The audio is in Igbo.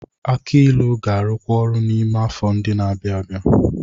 Aki ilu ga-arụkwu ọrụ n'ime afọ ndị na-abịa.